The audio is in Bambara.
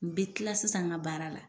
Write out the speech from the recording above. N bɛ tila sisan n ka baara la.